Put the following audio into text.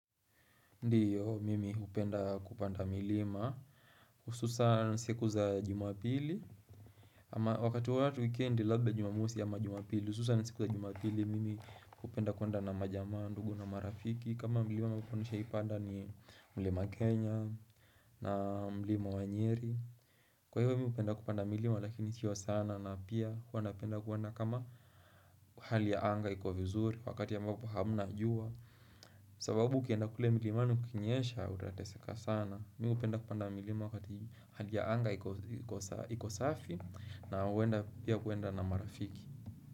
Ndiyo mimi hupenda kupanda milima ususan siku za jumapili ama wakati wa watu weekend labda jumamusi ama jumapili ususan siku za jumapili mimi upenda kuenda na majama ndugu na marafiki kama milima ambapo nishai panda ni mlima kenya na mlima wanyeri kwa hivyo mimi upenda kupanda milima lakini sio sana na pia huwa napenda kuenda kama hali ya anga ikiwa vizuri wakati ambapo hamna jua sababu ukienda kule milimani kukinyesha utateseka sana Mi hupenda kupanda milima wakati hali ya anga iko safi na huenda pia kuenda na marafiki.